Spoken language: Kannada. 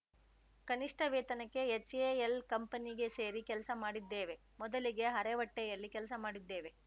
ಕನಿಷ್ಠ ವೇತನಕ್ಕೆ ಹೆಚ್‌ಎಎಲ್‌ ಕಂಪನಿಗೆ ಸೇರಿ ಕೆಲಸ ಮಾಡಿದ್ದೇವೆ ಮೊದಲಿಗೆ ಅರೆ ಹೊಟ್ಟೆಯಲ್ಲಿ ಕೆಲಸ ಮಾಡಿದ್ದೇವೆ